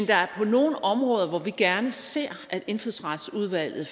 der er nogle områder hvor vi gerne ser at indfødsretsudvalget